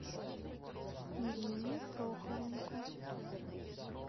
ирине прохоренко